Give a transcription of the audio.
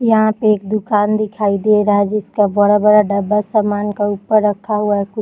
यहाँ पे एक दुकान दिखाई दे रहा है जिसका बड़ा-बड़ा डब्बा सामान के ऊपर रखा हुआ है।